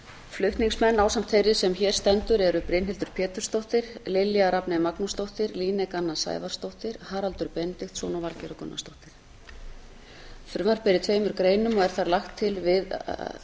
flutningsmenn ásamt þeirri sem hér stendur eru brynhildur pétursdóttir lilja rafney magnúsdóttir líneik anna sævarsdóttir haraldur benediktsson og valgerður gunnarsdóttir frumvarpið er í tveimur greinum og er þar lagt til að